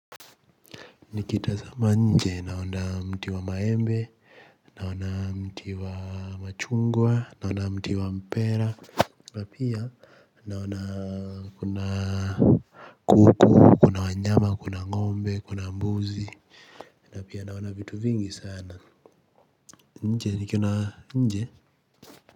Nikitazama nje naona mti wa maembe naona mti wa machungwa naona mti wa mpera na pia naona kuna kuku kuna wanyama kuna ngombe kuna mbuzi. Na pia naona vitu vingi sana nje nikiona nje.